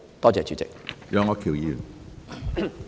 多謝主席。